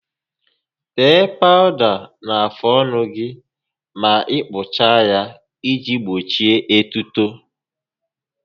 Tee pawụda na-afụ ọnụ gị ma ị kpụchaa ya iji gbochi etuto